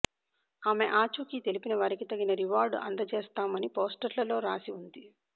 ఆమె ఆచూకీ తెలిపిన వారికి తగిన రివార్డు అందజేస్తాం అని పోస్టర్లలో రాసి ఉంది